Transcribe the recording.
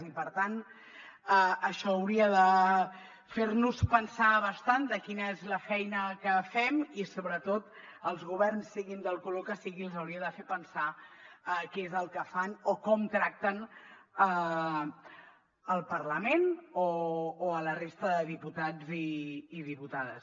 i per tant això hauria de fer·nos pensar bastant de quina és la feina que fem i sobretot als governs siguin del color que siguin els hauria de fer pensar què és el que fan o com tracten el parlament o la resta de diputats i diputades